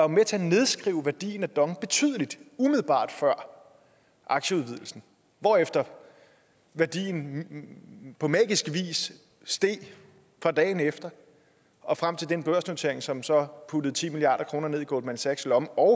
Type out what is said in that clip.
med til at nedskrive værdien af dong betydeligt umiddelbart før aktieudvidelsen hvorefter værdien på magisk vis steg fra dagen efter og frem til den børsnotering som så puttede ti milliard kroner ned i goldman sachs lomme og